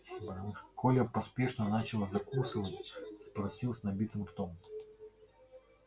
коля поспешно начал закусывать спросил с набитым ртом